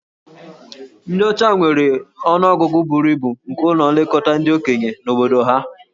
Ndị ọcha nwere ọnụ ọgụgụ buru ibu nke ụlọ nlekọta ndị okenye na obodo ha.